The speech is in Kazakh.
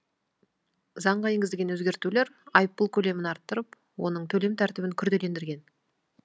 заңға енгізілген өзгертулер айыппұл көлемін арттырып оның төлем тәртібін күрделендірген